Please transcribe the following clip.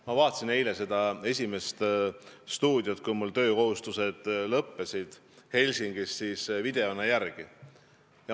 Ma vaatasin eilset "Esimest stuudiot" videona järele, kui mul töökohustused Helsingis olid lõppenud.